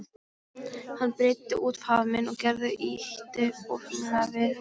Hann breiddi út faðminn og Gerður ýtti óþyrmilega við honum.